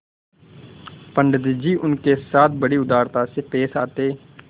पंडित जी उनके साथ बड़ी उदारता से पेश आते